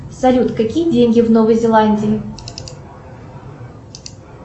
салют какие деньги в новой зеландии